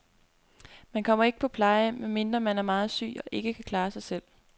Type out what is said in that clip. Man kommer ikke på plejehjem, medmindre man er meget syg og ikke kan klare sig selv.